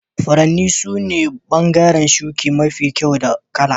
Furanni sune bangaren shuki mafi kyau da kala.